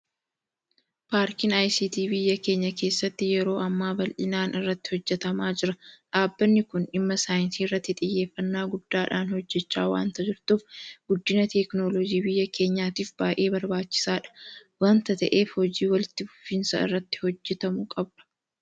Paarkiin ICT biyya keenya keessatti yeroo ammaa bal'inaan irratti hojjetamaa jira. Dhaabbani kun dhimma saayinsii irratti xiyyeeffannaa guddaadhaan hojjechaa waanta jirtuuf guddina Teekinooloojii biyya keenyaatiif baay'ee barbaachisaadha waanta ta'eef hojii walitti fufinsaan irratti hojjetamuu qabudha.